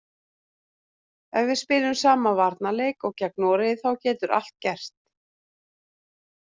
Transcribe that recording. Ef við spilum sama varnarleik og gegn Noregi þá getur allt gerst.